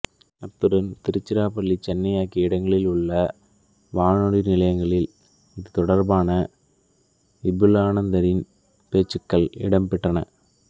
அத்துடன் திருச்சிராப்பள்ளி சென்னை ஆகிய இடங்களில் உள்ள வானொலி நிலையங்களில் இது தொடர்பான விபுலானந்தரின் பேச்சுக்கள் இடம்பெற்றன